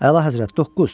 Əlahəzrət, doqquz.